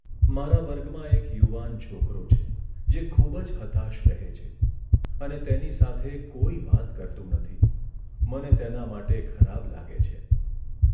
મારા વર્ગમાં એક યુવાન છોકરો છે, જે ખૂબ જ હતાશ રહે છે અને તેની સાથે કોઈ વાત કરતું નથી. મને તેના માટે ખરાબ લાગે છે.